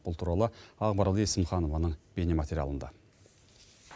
бұл туралы ақмарал есімханованың бейнематериалында